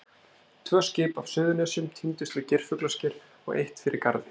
Tvö skip af Suðurnesjum týndust við Geirfuglasker og eitt fyrir Garði.